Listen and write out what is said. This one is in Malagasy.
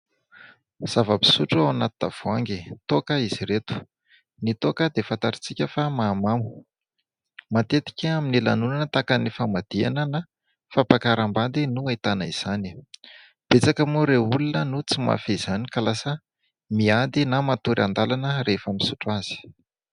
Zava-pisotro ao anaty tavoangy. Toaka izy ireto. Ny toaka dia fatatr'isika fa mahamamo. Matetika amin'ny lanonana tahaka ny famadihana na fampakaram-bady no ahitana izany. Betsaka moa ireo olona no tsy mahafehy izany ka lasa miady na matory an-dalana rehefa misotro azy.